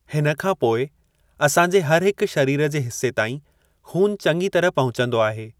हिन खां पोइ असांजे हर हिकु शरीर जे हिस्से ताईं खू़न चंङी तरह पहुचंदो आहे।